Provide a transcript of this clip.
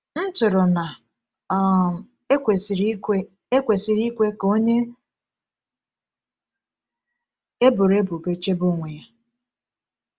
M tụrụ na um e kwesịrị ikwe e kwesịrị ikwe ka onye eboro ebubo chebe onwe ya.